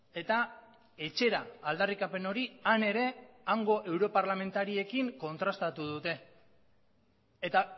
eta etxera aldarrikapen hori han ere hango europarlamentariekin kontrastatu dute eta